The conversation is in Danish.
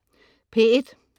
P1: